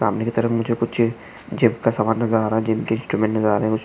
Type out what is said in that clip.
सामने की तरफ मुझे कुछ जिम जिम का सामान नजर आ रहा है जिम के इंस्ट्रुमेंट्स नजर आ रहे।